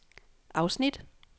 afsnit